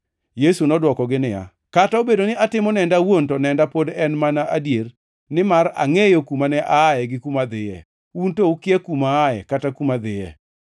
Yesu nodwokogi niya, “Kata obedo ni atimo nenda awuon to nenda pod en mana adier nimar angʼeyo kuma ne aaye gi kuma adhiye. Un to ukia kuma aaye kata kuma adhiye.